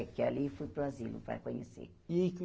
É, que ali eu fui para o asilo para conhecer.